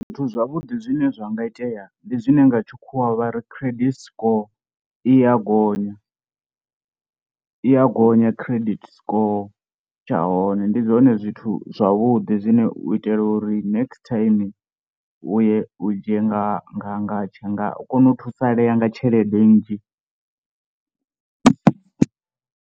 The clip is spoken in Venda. Zwithu zwavhuḓi zwine zwa nga itea ndi zwine nga tshikhuwa vha ri credit score i ya gonya, i ya gonya credit score tsha hone ndi zwone zwithu zwavhuḓi zwine u itela uri next time u ye u dzhie nga nga nga tsha nga u kona u thusalea nga tshelede nnzhi.